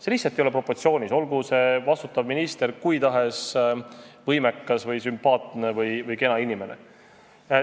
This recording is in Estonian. See lihtsalt ei ole proportsioonis, olgu see vastutav minister kui tahes võimekas või sümpaatne või kena inimene.